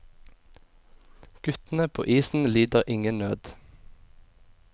Guttene på isen lider ingen nød.